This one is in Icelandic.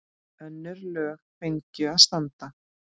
Önnur lög fengju að standa.